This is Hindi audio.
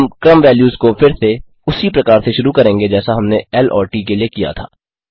हम क्रम वेल्यूज़ को फिर से उसी प्रकार से शुरू करेंगे जैसा हमने ल और ट के लिए किया था